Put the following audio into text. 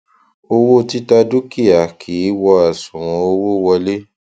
owó títa dúkìá kìí wọ àṣùwọn owó wọlé